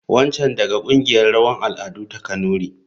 Wancan daga kungiyar rawan al'adu ta kanuri.